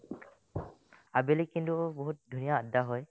আবেলি কিন্তু বহুত ধুনীয়া আদ্দা হয়